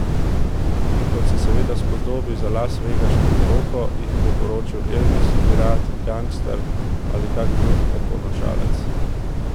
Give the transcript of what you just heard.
In kot se seveda spodobi za lasvegaško poroko, jih bo poročil Elvis, pirat, gangster ali kak drug oponašalec.